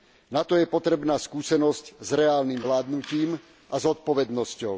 Na to je potrebná skúsenosť s reálnym vládnutím a zodpovednosťou.